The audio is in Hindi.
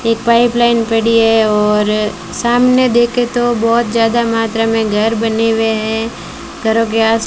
एक पाइप लाइन पड़ी है और सामने देखे तो बहोत ज्यादा मात्रा में घर बने हुए है घरों के आस --